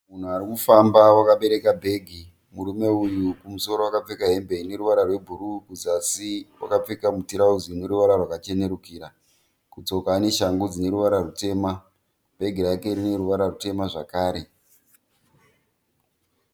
Munhu ari kufamba wakaberekaka bhegi. Murume uyu kumosoro akapfeka hembe ine ruvara rwebhuruu kuzasi akapfeka tirauzi rine ruvara rwakachenukira, kutsoka ane shangu dzine ruvara rutema. Bhegi rake rine ruvara rutema zvakare.